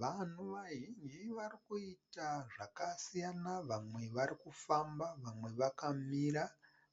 Vanhu vazhinji vari kuita zvakasiyana vamwe vari kufamba, vamwe vakamira